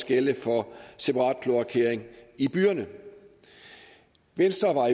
gælde for separat kloakering i byerne venstre var